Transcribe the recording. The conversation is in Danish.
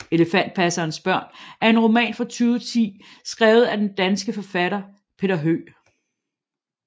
Elefantpassernes børn er en roman fra 2010 skrevet af den danske forfatter Peter Høeg